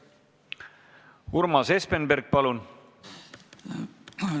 Urmas Espenberg, palun!